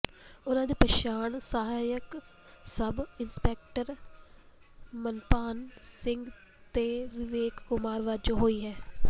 ਉਨ੍ਹਾਂ ਦੀ ਪਛਾਣ ਸਹਾਇਕ ਸਬ ਇੰਸਪੈਕਟਰ ਮਨਿਭਾਨ ਸਿੰਘ ਤੇ ਵਿਵੇਕ ਕੁਮਾਰ ਵਜੋਂ ਹੋਈ ਹੈ